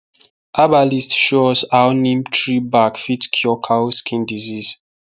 herbalist show us how neem tree bark fit cure cow skin disease